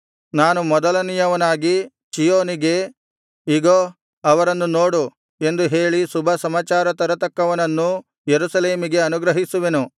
ನಾನು ಮೊದಲನೆಯವನಾಗಿ ಚೀಯೋನಿಗೆ ಇಗೋ ಅವರನ್ನು ನೋಡು ಎಂದು ಹೇಳಿ ಶುಭಸಮಾಚಾರ ತರತಕ್ಕವನನ್ನು ಯೆರೂಸಲೇಮಿಗೆ ಅನುಗ್ರಹಿಸುವೆನು